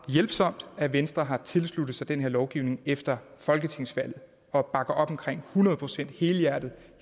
hjælpsomt at venstre har tilsluttet sig den her lovgivning efter folketingsvalget og bakker op om den hundrede procent helhjertet